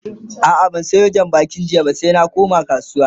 a'a ban Sayo jan bakin jiya ba sai ba koma kasuwa